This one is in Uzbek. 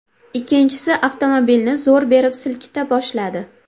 Ikkinchisi avtomobilni zo‘r berib silkita boshladi.